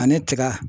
Ani tiga